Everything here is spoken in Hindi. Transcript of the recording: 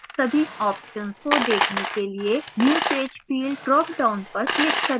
सभी options को देखने के लिए new page field dropdown पर click करें